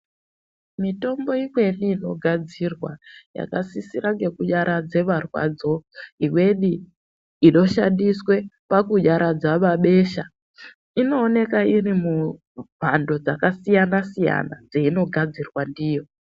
Mitombo imweni inogadzirwa yakasisira ngekunyaradza marwadzo imweni inoshandiswe pakunyaradza mabesha inooneka irimumhando dzakasiyana siyana dzeinogadzirwa ndiyo.